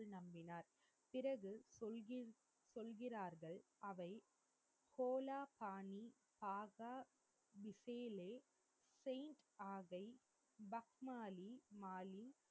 நம்பினார் பிறகு கொள்கில் சொல்கிறார்கள் அவை ஹோலா பாணி ஆஹா பிசிலே செயின்ட் ஆஹை பக்மாளி மாளி